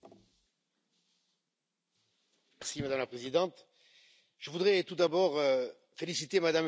Madame la Présidente, je voudrais tout d'abord féliciter Mme Frédérique Ries pour cet excellent rapport.